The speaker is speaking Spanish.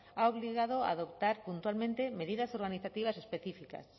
ha obligado a adoptar puntualmente medidas organizativas específicas